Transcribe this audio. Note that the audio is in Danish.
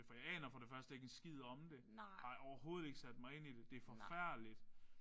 For jeg aner for det første ikke en skid om det har overhovedet ikke sat mig ind i det det er forfærdeligt